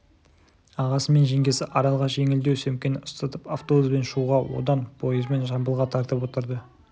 ағасы мен жеңгесі аралға жеңілдеу сөмкені ұстатып автобуспен шуға одан пойызбен жамбылға тартып отырды